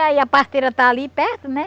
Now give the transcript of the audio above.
E aí a parteira está ali perto, né?